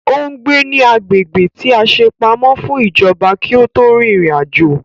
Ò ń gbé ní agbègbè tí a ṣe pamọ́ fún ìjọba kí ó tó rin ìrìn àjò